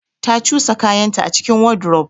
Ta cusa kayanta a cikin wardrobe.